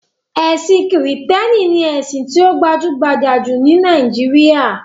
Ẹ̀sin Kìrìtẹ̀ẹ́nì ni ẹ̀sìn tí ó gbajúgbajà jù ní Nàíjíríà.